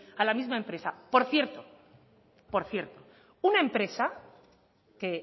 a la misma empresa por cierto por cierto una empresa que